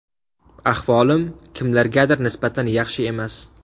Ahvolim, kimlargadir nisbatan yaxshi emas.